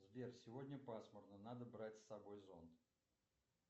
сбер сегодня пасмурно надо брать с собой зонт